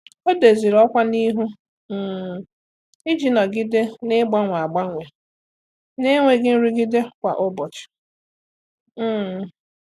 Ọ́ dòzìrì ọ́kwá n’ihu um iji nọ́gídé n’ị́gbànwé ágbànwé n’énwéghị́ nrụgide kwa ụ́bọ̀chị̀. um